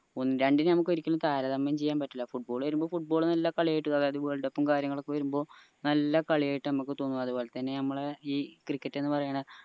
രണ്ടിനെയും നമുക്ക് ഒരിക്കലും താരതമ്യം ചെയ്യാൻ പറ്റില്ല football വരുമ്പോ football നല്ല കളിയായിട്ട് അതായത് world cup ഉ കാര്യങ്ങ ഒക്കെ വരുമ്പോ നല്ല കളിയായിട്ട നമുക്ക് തോന്നാറ് അത്പോലെ തന്നെ ഞമ്മള ഈ cricket ന്ന് പറീണെ